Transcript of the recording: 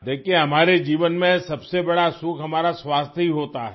دیکھئے ہماری زندگی میں سب سے بڑی خوشی ہماری صحت ہی ہوتی ہے